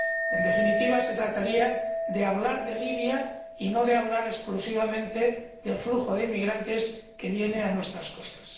En definitiva, se trataría de hablar de Libia y no de hablar exclusivamente del flujo de inmigrantes que vienen a nuestras costas.